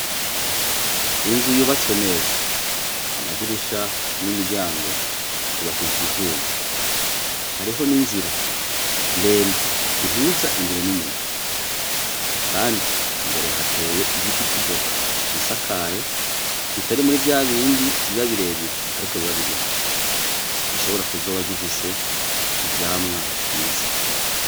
Inzu yubatswe neza amadirisha n'imiryango vyubakishijwe isima n'ivyma, hariho n'inzira ndende ihuza imbere n'inyuma, kandi hateye igiti c'ivoka cisakaye kitari muri vyabindi biba birebire, ariko biba bigufi, gishobora kuzoba gifise ivyamwa vyiza.